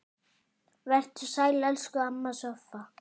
Vertu sæl, elsku amma Soffa.